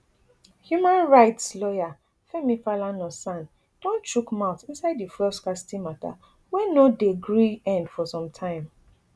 human rights lawyer femi falana san don chook mouth inside di fuel scarcity mata wey no dey gree end for sometime